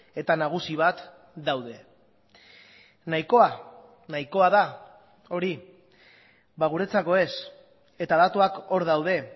eta nagusi bat daude nahikoa nahikoa da hori guretzako ez eta datuak hor daude